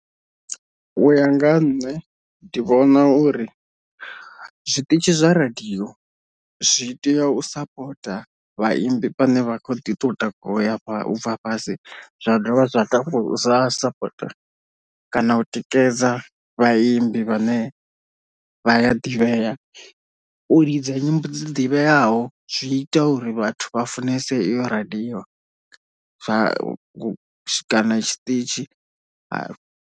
Uya nga ha nṋe ndi vhona uri zwiṱitshi zwa radio zwi tea u sapota vhaimbi vhane vha kho ḓi to takuwa uya u bva fhasi zwa dovha zwa sapota kana u tikedza vhaimbi vhane vha ya ḓivhea, u lidza nyimbo dzi ḓivheaho zwi ita uri vhathu vha funesa eyo radio zwa kana tshiṱitzhi.